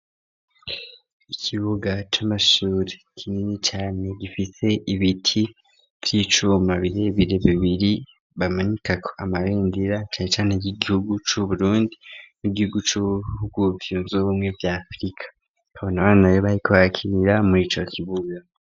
Ikibuga c'amashure kinini cane gifite ibiti vy'icuma birebire bibiri bamanikako amabendera, cane cane y'igihugu c'Uburundi n'igihugu c'ubwuvyunzu ubumwe vya Afrika, babona abana barikohakirira mw'ico kibuga.